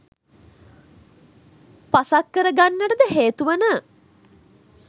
පසක් කර ගන්නටද හේතු වන